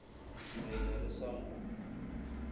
re be re sa mo